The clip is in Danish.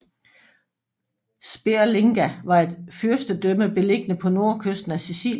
Sperlinga var et fyrstedømme beliggende på nordkysten af Sicilien